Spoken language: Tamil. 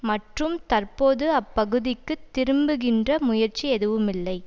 மற்றும் தற்போது அப்பகுதிக்கு திரும்புகின்ற முயற்சி எதுவுமில்லை